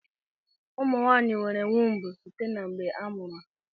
Ụmụ nwaanyị nwere wumbu site mgbe a mụrụ ha.